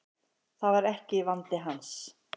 Það var ekki vandi hans.